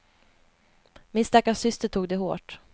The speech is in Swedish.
Min stackars syster tog det hårt.